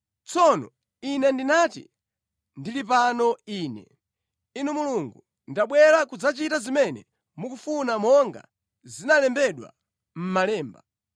Tsono, Ine ndinati, ‘Ndili pano Ine, Inu Mulungu, ndabwera kudzachita zimene mukufuna monga zinalembedwa mʼMalemba.’ ”